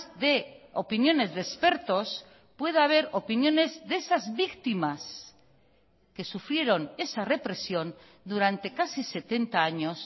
de opiniones de expertos pueda haber opiniones de esas víctimas que sufrieron esa represión durante casi setenta años